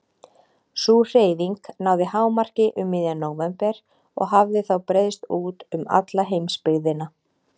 Sú hreyfing náði hámarki um miðjan nóvember og hafði þá breiðst út um alla heimsbyggðina.